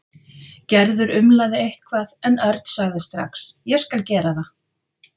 Gerður umlaði eitthvað en Örn sagði strax: Ég skal gera það.